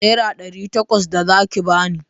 Nera ɗari takwas za ki ba ni!